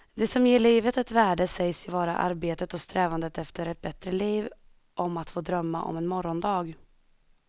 Det som ger livet ett värde sägs ju vara arbetet och strävandet efter ett bättre liv, om att få drömma om en morgondag.